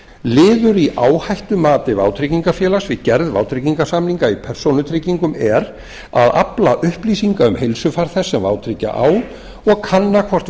liður i áhættumati vátryggingafélag við gerð vátryggingarsamninga í persónutryggingum er að afla upplýsinga um heilsufar þess sem vátryggja á og kanna hvort